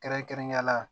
Kɛrɛnkɛrɛnnenya la